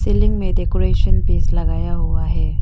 Building में decoration piece लगाया हुआ है।